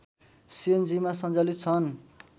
सिएनजीमा सञ्चालित छन्